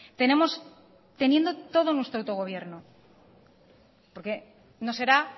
tenemos teniendo todo nuestro autogobierno porque no será